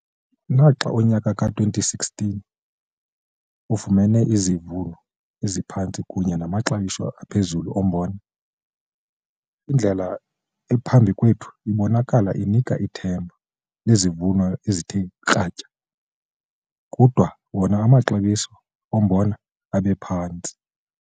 Naxa unyaka ka-2016 efumene izivuno eziphantsi kunye namaxabiso aphezulu ombona, indlela ephambi kwethu ibonakala inika ithemba lezivuno ezithe kratya kodwa wona amaxabiso ombona abe phantsi.